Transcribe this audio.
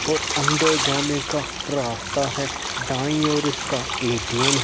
और अंदर जाने का रास्ता है दाई और इसका एटीएम है।--